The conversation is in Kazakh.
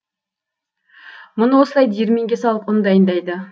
мұны осылай диірменге салып ұн дайындайды